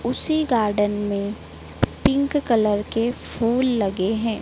उसी गार्डन में pink colour के फूल लगे हैं।